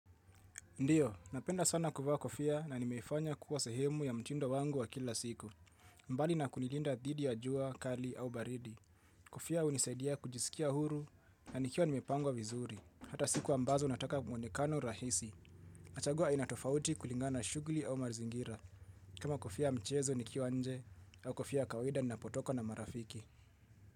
Ndiyo, napenda sana kuvaa kofia na nimeifanya kuwa sehemu ya mtindo wangu wa kila siku. Mbali na kunilinda dhidi ya jua kali au baridi. Kofia hunisaidia kujisikia huru na nikiwa nimepangwa vizuri. Hata siku ambazo nataka mwonekano rahisi. Nachagua aina tofauti kulingana na shugli au mazingira. Kama kofia ya mchezo nikiwa nje au kofia ya kawaida ninapotoka na marafiki.